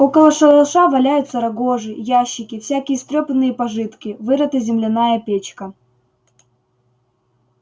около шалаша валяются рогожи ящики всякие истрёпанные пожитки вырыта земляная печка